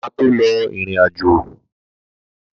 Bàbá máa tó lọ ìrìn-àjò